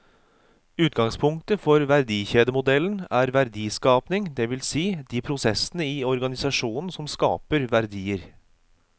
Utgangspunktet for verdikjedemodellen er verdiskapingen, det vil si de prosessene i organisasjonen som skaper verdier.